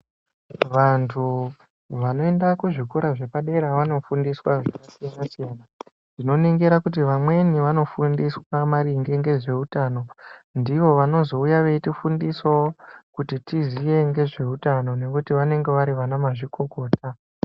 Vantu vanoenda ku zvikora zvepadera vano fundiswa zvaka siyana siyana ndino ningira kuti vamweni vano fundiswa maringe nge zveutano ndivo vanozouya veiti fundisawo kuti tiziye ngezve utano nekuti vanenge vari vana mazvikokota.